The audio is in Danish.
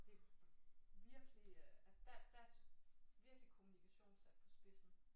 Det virkelig altså der der virkelig kommunikation sat på spidsen